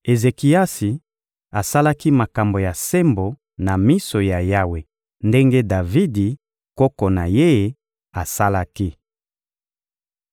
Ezekiasi asalaki makambo ya sembo na miso ya Yawe ndenge Davidi, koko na ye, asalaki.